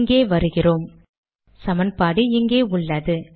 இங்கே வருகிறோம்- சமன்பாடு இங்கே உள்ளது